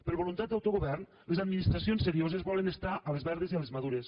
per voluntat d’autogovern les administracions serioses volen estar a les verdes i a les madures